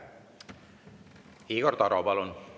Igor Taro, palun!